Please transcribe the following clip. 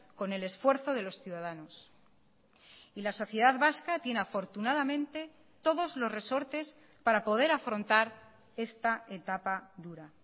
con el esfuerzo de los ciudadanos y la sociedad vasca tiene afortunadamente todos los resortes para poder afrontar esta etapa dura